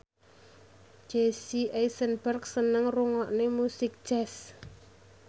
Jesse Eisenberg seneng ngrungokne musik jazz